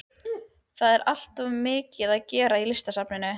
Það er alltaf svo mikið að gera á Listasafninu.